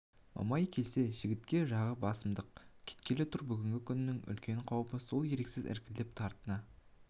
мамай келсе жігітек жағы басымдап кеткелі тұр бүгінгі күннің үлкен қаупі сол еріксіз іркіліп тартына